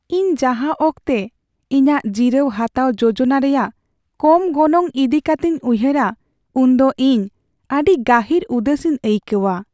ᱤᱧ ᱡᱟᱦᱟᱸ ᱚᱠᱛᱮ ᱤᱧᱟᱹᱜ ᱡᱤᱨᱟᱹᱣ ᱦᱟᱛᱟᱣ ᱡᱳᱡᱚᱱᱟ ᱨᱮᱭᱟᱜ ᱠᱚᱢ ᱜᱚᱱᱚᱝ ᱤᱫᱤ ᱠᱟᱛᱮᱧ ᱩᱭᱦᱟᱹᱨᱟ, ᱩᱱᱫᱚ ᱤᱧ ᱟᱹᱰᱤ ᱜᱟᱹᱦᱤᱨ ᱩᱫᱟᱹᱥᱤᱧ ᱟᱹᱭᱠᱟᱹᱣᱟ ᱾